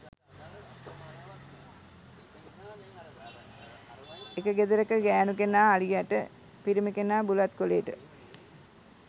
එක ගෙදරක ගෑණු කෙනා අලියට පිරිමි කෙනා බුලත් කොලේට